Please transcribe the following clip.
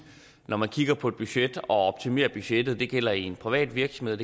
når man kigger på et budget at optimere budgettet det gælder en privat virksomhed